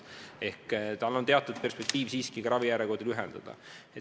Ehk aitab see siiski ka ravijärjekordi lühendada.